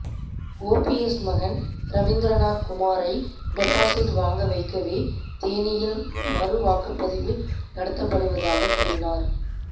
OPS மகன் ரவீந்தரநாத் குமாரை deposit வாங்க வைக்கவே தேனியில் மறுவாக்குப்பதிவு நடத்தப்படுவதாக கூறினார்